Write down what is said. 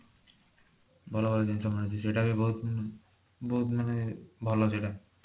ଭଲ ଭଲ ଜିନିଷ ମିଳୁଛି ସେଇଟା ବି ବହୁତ ବହୁତ ମାନେ ଭଲ ସେଇଟା